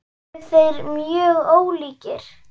Eru þeir mjög ólíkir?